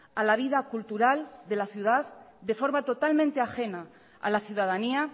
a la vida cultural de la ciudad de forma totalmente ajena a la ciudadanía